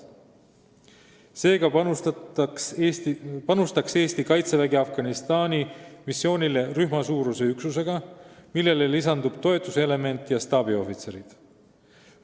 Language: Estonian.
Seega panustaks Eesti Kaitsevägi Afganistani missioonile rühmasuuruse üksusega, millele lisandub toetuselement ja staabiohvitserid.